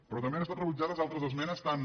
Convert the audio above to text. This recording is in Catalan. però també han estat rebutjades altres esmenes tan